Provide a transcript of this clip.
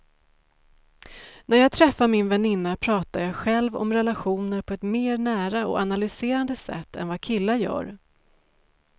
När jag träffar min väninna pratar jag själv om relationer på ett mer nära och analyserande sätt än vad killar gör.